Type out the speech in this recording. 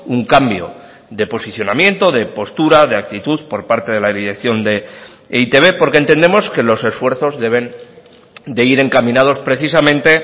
un cambio de posicionamiento de postura de actitud por parte de la dirección de e i te be porque entendemos que los esfuerzos deben de ir encaminados precisamente